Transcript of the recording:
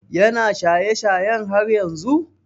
Ya na shaye shayen har yanzu?